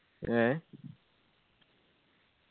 ഏ?